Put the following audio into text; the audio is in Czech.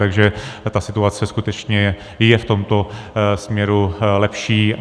Takže ta situace skutečně je v tomto směru lepší.